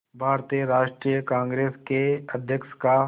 भारतीय राष्ट्रीय कांग्रेस के अध्यक्ष का